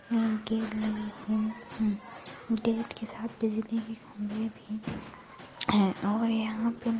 gate के साथ बिजली के खम्बे भी हैं और यहाँ पे --